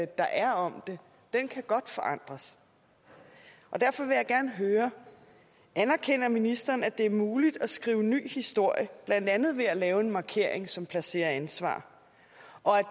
der er om det kan godt forandres derfor vil jeg gerne høre anerkender ministeren at det er muligt at skrive ny historie blandt andet ved at lave en markering som placerer ansvar og at